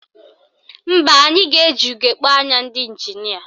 Mba, anyị ga-eji ugegbe anya ndị ịnjinịa